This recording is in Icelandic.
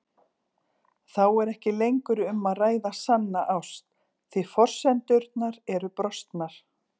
Þá er ekki lengur um að ræða sanna ást því forsendurnar eru brostnar.